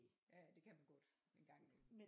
Ja ja det kan man godt en gang imellem